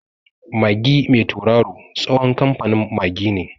Magi mai tauraro tsohon kamfanin Magi ne.